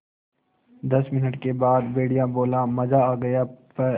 दस मिनट के बाद भेड़िया बोला मज़ा आ गया प्